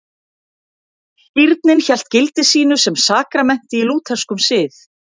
Skírnin hélt gildi sínu sem sakramenti í lútherskum sið.